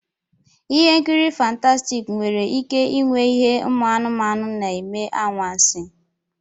Ihe nkiri fántási nwere ike ịnwe ihe umu anumanu na-eme anwansi